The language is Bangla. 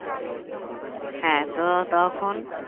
হ্যাঁ তো তখন